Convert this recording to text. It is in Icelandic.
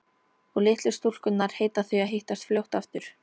Og litlu stúlkurnar heita því að hittast fljótt aftur.